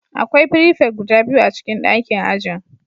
Akwai prefect guda biyu a cikin ɗakin ajin